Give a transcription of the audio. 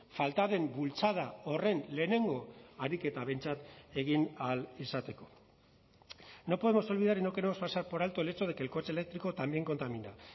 falta den bultzada horren lehenengo ariketa behintzat egin ahal izateko no podemos olvidar y no queremos pasar por alto el hecho de que el coche eléctrico también contamina